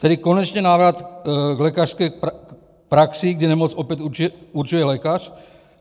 Tedy konečně návrat k lékařské praxi, kdy nemoc opět určuje lékař.